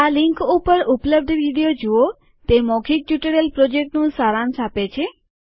આ લીંક ઉપર ઉપલબ્ધ વિડીઓ જુઓતે મૌખિક ટ્યુટોરીયલ પ્રોજેક્ટનું સારાંશ આપે છે